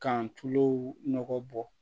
K'an tulo nɔgɔ bɔ